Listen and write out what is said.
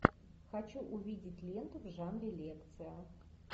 хочу увидеть ленту в жанре лекция